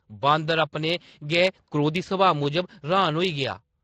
बांदर, अपने गै क्रोधी सभाऽ मूजब र्‌हान होई गेआ ।